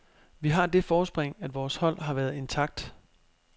Vi har det forspring, at vores hold har været intakt